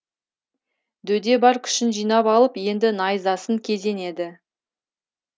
дөде бар күшін жинап алып енді найзасын кезенеді